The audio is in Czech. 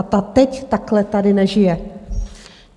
A ta teď takhle tady nežije.